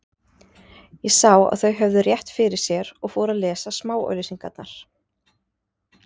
Ég sá að þau höfðu rétt fyrir sér og fór að lesa smáauglýsingarnar.